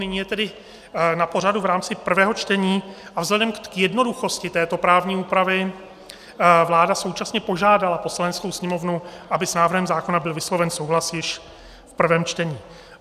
Nyní je tedy na pořadu v rámci prvého čtení a vzhledem k jednoduchosti této právní úpravy vláda současně požádala Poslaneckou sněmovnu, aby s návrhem zákona byl vysloven souhlas již v prvém čtení.